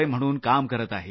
म्हणून काम करत आहेत